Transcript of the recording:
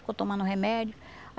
Ficou tomando o remédio.